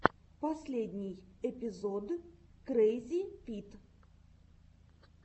последний эпизод крэйзипит